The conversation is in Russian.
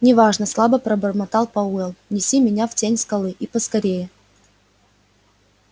не важно слабо пробормотал пауэлл неси меня в тень скалы и поскорее